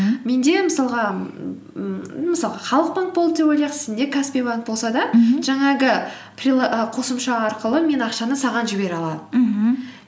менде ммм мысалға халық банк болды деп ойлайық сенде каспи банк болса да мхм жаңағы і қосымша арқылы мен ақшаны саған жібере аламын мхм